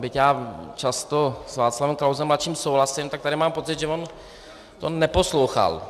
Byť já často s Václavem Klausem mladším souhlasím, tak tady mám pocit, že on to neposlouchal.